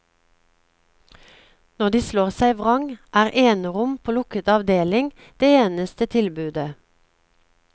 Når de slår seg vrang er enerom på lukket avdeling det eneste tilbudet.